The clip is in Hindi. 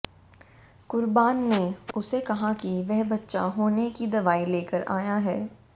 कुर्बान ने उसे कहा कि वह बच्चा होने की दवाई लेकर आया है